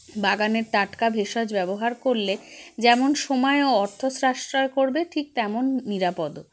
বাগানের টাটকা ভেষজ ব্যবহার করলে যেমন সময় ও অর্থ সাশ্রয় করবে ঠিক তেমন নিরাপদও